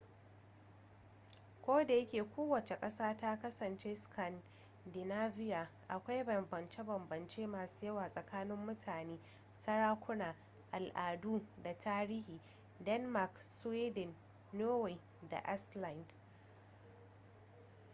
kodayake kowace ƙasa ta kasance 'scandinavia' akwai bambance-bambance masu yawa tsakanin mutane sarakuna al'adu da tarihin denmark sweden norway da iceland